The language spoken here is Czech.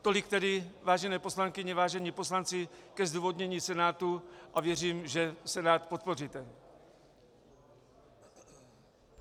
Tolik tedy, vážené poslankyně, vážení poslanci, ke zdůvodnění Senátu a věřím, že Senát podpoříte.